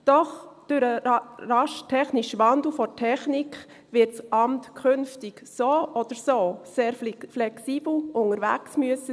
Doch durch den raschen Wandel der Technik wird das Amt künftig so oder so sehr flexibel unterwegs sein müssen.